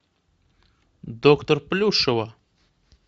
доктор плюшева